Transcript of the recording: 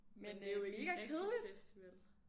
Men det er jo ikke en rigtig festival